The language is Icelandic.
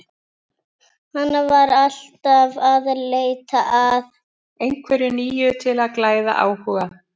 Hann var alltaf að leita að einhverju nýju til að glæða áhuga.